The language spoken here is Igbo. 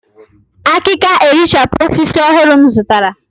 ìkaka erichapụ osisi ọhụrụ m zụtara